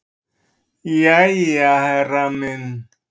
"""Jæja, herra minn."""